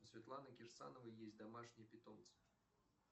у светланы кирсановой есть домашние питомцы